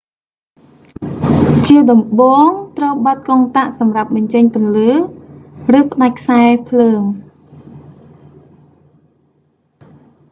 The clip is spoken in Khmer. ជាដំបូង ត្រូវបិទកុងតាក់សម្រាប់បញ្ចាពន្លឺ ឬ ផ្តាច់ខ្សែរភ្លើង